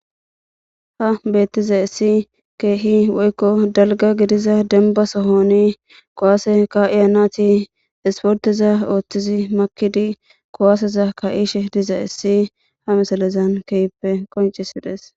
ha beettizayissi keehi woykko dalga gidiza denba sohoni kuwase ka7iya nati isporteza ooththizi makidi kuwaaseza ka7ishe dizayissi ha misalezan kehippe qoncisides